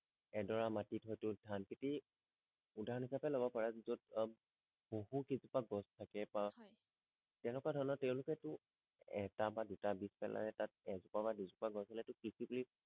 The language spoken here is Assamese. এডৰা মাটিত হয়টো ধান খেতি উদাহৰণ হিচাপে লব পাৰা যত আহ বহু কেইজোপা গছ থাকে বা হয় তেনেকুৱা ধৰণৰ তেওঁলোকে টো এটা বা দুটা দি পেলাই তাত এজোপা বা দুজোপা গছ হলেই বুলি কৃষি বুলি